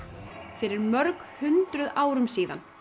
fyrir mörg hundruð árum síðan